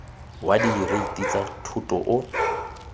wa direiti tsa thoto o